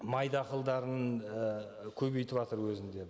май дақылдарын і көбейтіватыр өзінде